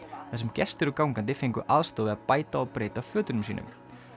þar sem gestir og gangandi fengu aðstoð við að bæta og breyta fötunum sínum